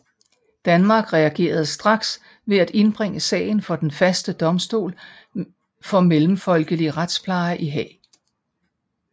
Danmark reagerede straks ved at indbringe sagen for Den Faste Domstol for Mellemfolkelig Retspleje i Haag